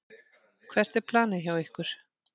Hvert er planið hjá ykkur?